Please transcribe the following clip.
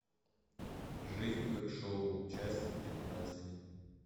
жизнь как шоу часть пятнадцать